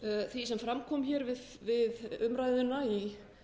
því sem fram kom hér við umræðuna í